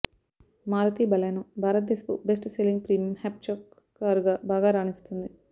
Maruti Baleno భారతదేశపు best selling premium hatchback కారుగా బాగా రాణిస్తోంది